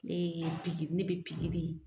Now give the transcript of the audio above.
Nee pigi ne be pigiri